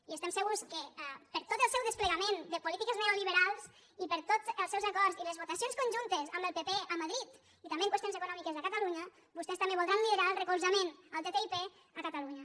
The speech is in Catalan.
i estem segurs que per tot el seu desplegament de polítiques neoliberals i per tots els seus acords i les votacions conjuntes amb el pp a madrid i també en qüestions econòmiques a catalunya vostès també voldran liderar el recolzament al ttip a catalunya